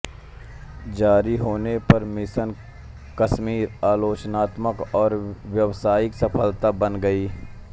जारी होने पर मिशन कश्मीर आलोचनात्मक और व्यावसायिक सफलता बन गई